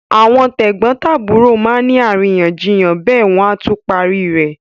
Àwọn tẹ̀gbọ́ntàbúrò má ni àríyànjiyàn bẹ́ẹ̀ wọ́n á tún parí ẹ̀.